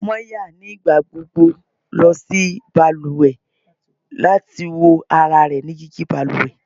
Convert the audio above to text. Maya nigbagbogbo lọ si baluwe lati wo ara rẹ ni digi baluwe